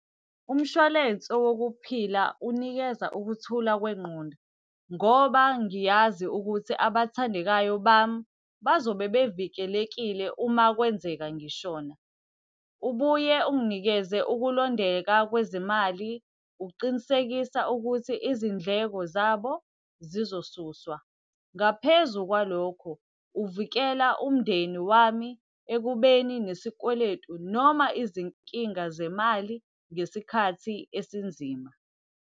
Umshwalense wokuphila unikeza ukuthula kwengqondo, ngoba ngiyazi ukuthi abathandekayo bami, bazobe bevikelekile uma kwenzeka ngishona. Ubuye unginikeze ukulondeka kwezimali, ukuqinisekisa ukuthi izindleko zabo zizosuswa. Ngaphezu kwalokho, uvikela umndeni wami ekubeni nesikweletu noma izinkinga zemali ngesikhathi esinzima.